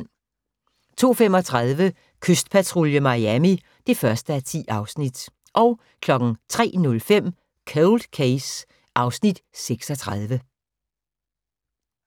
02:35: Kystpatrulje Miami (1:10) 03:05: Cold Case (Afs. 36)